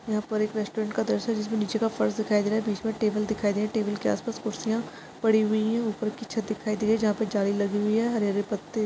यहा पर एक रेस्टॉरंट का जिसमे नीचे का फर्श दिखाई दे रहा है बीच मे टेबल दिखाई दे रही टेबल के आस पास कुरसिया पड़ी हुई है ऊपर की छत दिखाई दे जहा पर जाली लगी हुई है हरे हरे पत्ते --